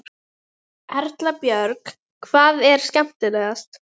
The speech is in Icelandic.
Síst hann sjálfan, því það gerði einungis illt verra.